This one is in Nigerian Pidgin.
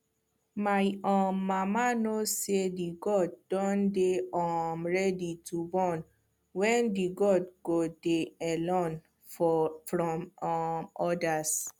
my um mama know say the goad dun dey um ready to born when the goad go dey alone from um others